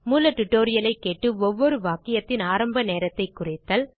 மூல டியூட்டோரியல் ஐ கேட்டு ஒவ்வொரு வாக்கியத்தின் ஆரம்பநேரத்தைக் குறித்தல்